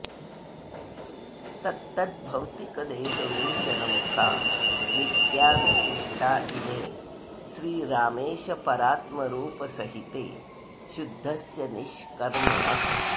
तत्तद्भौतिकदेहवेशनमुखा नित्या विशिष्टा इमे श्रीरामेश परात्मरूपसहिते शुद्धस्य निष्कर्मणः